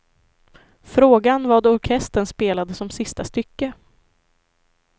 Frågan vad orkestern spelade som sista stycke.